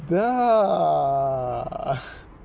да